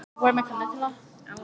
En var viðræðum við Breta hafnað?